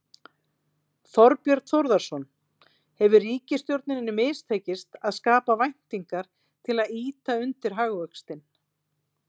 Þorbjörn Þórðarson: Hefur ríkisstjórninni mistekist að skapa væntingar til að ýta undir hagvöxtinn?